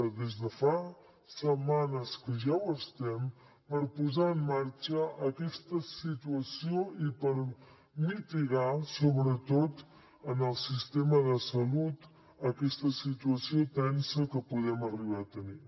des de fa setmanes que ja ho estem per posar en marxa aquesta situació i per mitigar sobretot en el sistema de salut aquesta situació tensa que podem arribar a tenir